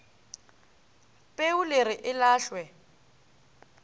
peu le re e lahlwe